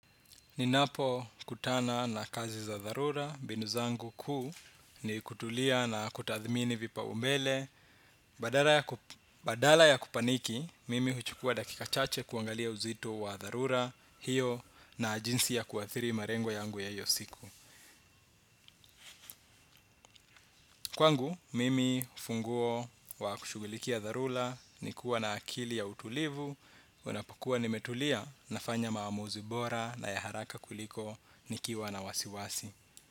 Ninapo kutana na kazi za dharura, mbinu zangu kuu ni kutulia na kutathimini vipaumbele, badala ya badala ya kupaniki, mimi huchukua dakika chache kuangalia uzito wa dharura, hiyo na jinsi ya kuathiri marengo yangu ya hiyo siku. Kwangu, mimi funguo wa kushughulikia dharura, ni kuwa na akili ya utulivu, unapokuwa nimetulia, nafanya maamuzi bora na ya haraka kuliko, nikiwa na wasiwasi.